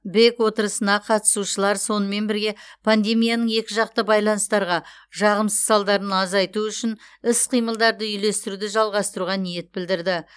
бек отырысына қатысушылар сонымен бірге пандемияның екіжақты байланыстарға жағымсыз салдарын азайту үшін іс қимылдарды үйлестіруді жалғастыруға ниетін білдірді